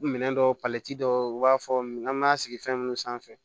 Minɛn dɔw dɔw b'a fɔ an ma sigi fɛn minnu sanfɛ